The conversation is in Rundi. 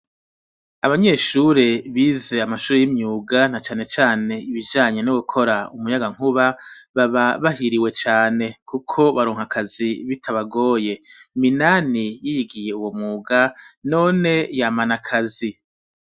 Abanyeshuri bize amashuri y'imyuga na cane cane ibijanye no gukora umuyagankuba baba bahiriwe cane kuko baronka akazi bitabagoye Minani yigiye uwo mwuga none yamana akazi.